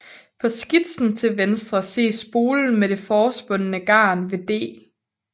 På skitsen til venstre ses spolen med det forspundne garn ved D